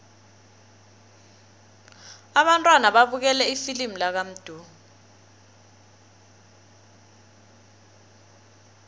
abantwana babukele ifilimu lakamdu